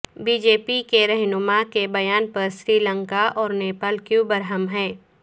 be J P کے رہنما کے بیان پر سری لنکا اور نیپال کیوں برہم ہیں